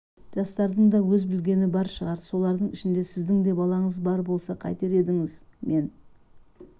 жастардың да өзі білген бар шығар солардың ішінде сіздің де балаңыз бар болса қайтер едіңіз мен